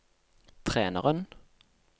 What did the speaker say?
treneren